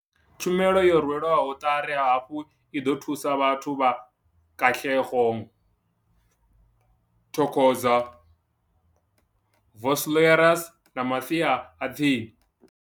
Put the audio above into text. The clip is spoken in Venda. Tshumelo yo rwelwaho ṱari hafhu i ḓo thusa vhathu vha Katlehlo, Thokoza, Vosloorus na masia a tsini.